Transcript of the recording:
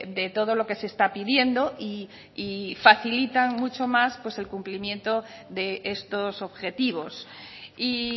de todo lo que se está pidiendo y facilitan mucho más pues el cumplimiento de estos objetivos y